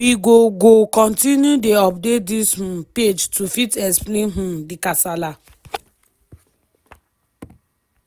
we go go continue dey update dis um page to fit explain um di kasala.